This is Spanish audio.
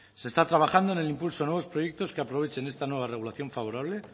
se está trabajando en el impulso de nuevos proyectos que aprovechen esta nueva regulación favorable